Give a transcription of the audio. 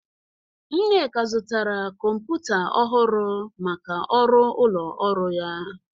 Nneka zụtara kọmputa ọhụrụ maka ọrụ ụlọ ọrụ ya.